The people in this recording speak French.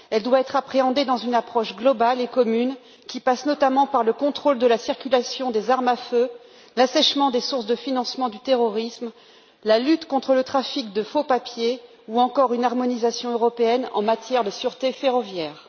Elle doit être appréhendée au travers d'une approche globale et commune, qui passe notamment par le contrôle de la circulation des armes à feu, l'assèchement des sources de financement du terrorisme, la lutte contre le trafic de faux papiers, ou encore une harmonisation européenne en matière de sûreté ferroviaire.